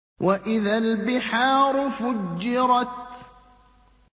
وَإِذَا الْبِحَارُ فُجِّرَتْ